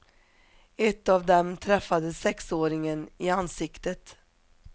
Ett av dem träffade sexåringen i ansiktet.